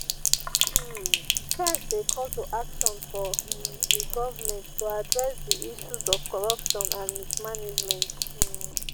um strike dey call to action for um di government to address di issues of corruption and mismanagement. um